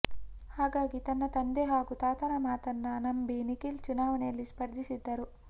ಹಾಗಾಗಿ ತನ್ನ ತಂದೆ ಹಾಗೂ ತಾತನ ಮಾತನ್ನ ನಂಬಿ ನಿಖಿಲ್ ಚುನಾವಣೆಯಲ್ಲಿ ಸ್ಪರ್ಧಿಸಿದ್ದರು